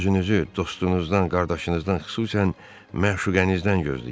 Özünüzü dostunuzdan, qardaşınızdan, xüsusən məşuqənizdən gözləyin.